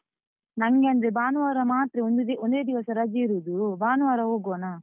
ನಂಗೆ ಅಂದ್ರೆ ಭಾನುವಾರ ಮಾತ್ರ ಒಂದು ದಿ ಒಂದೇ ದಿವಸ ರಜೆ ಇರುದು, ಭಾನುವಾರ ಹೋಗುವನ?